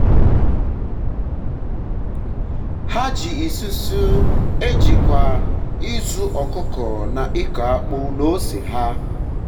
ha ji isusu e jikwa ịzụ ọkụkọ na ịkọ akpụ na ose ha